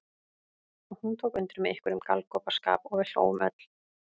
Og hún tók undir með einhverjum galgopaskap og við hlógum öll.